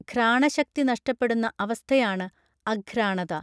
ഘ്രാണശക്തി നഷ്ടപ്പെടുന്ന അവസ്ഥയാണ് അഘ്രാണത